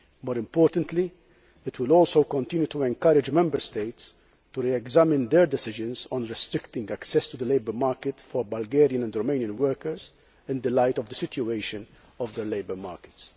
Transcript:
More importantly, it will continue to encourage Member States to re examine their decisions on restricting access to the labour market for Bulgarian and Romanian workers in the light of the situation of their labour markets.